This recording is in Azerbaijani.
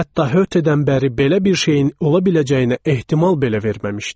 Hətta Hötedən bəri belə bir şeyin ola biləcəyinə ehtimal belə verməmişdik.